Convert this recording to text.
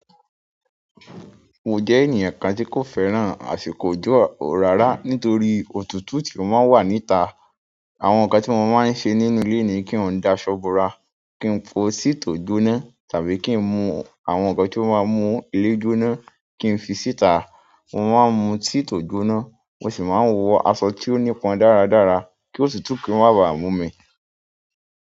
Mo jẹ́ ènìyàn kan tí kò fẹ́ràn àsìkò òjò rárà nítorí òtútù tí ó máa ń wà níta. Àwọn nǹkan tí mo máa ń ṣe nínú ilé ni kí n dá ṣọ́ bora, kí n po tea tò gboná tàbí kí n mu àwọn nǹkan tí ó máa mú ilé gbóná, kí n fi síta, mo máa ń mun tea tò gbóná, mo sì máa ń wọ aṣọ tí ó nípọn dáradára kí òtútù kí í má ba à mú mi.